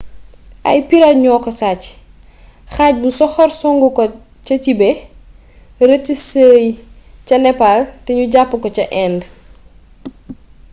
ay pirate ñoko sacc xaj bu soxor songu ko ca tibet rëc sëy ca nepal te nu jàpp ko ca indë